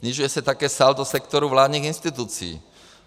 Snižuje se také saldo sektoru vládních institucí.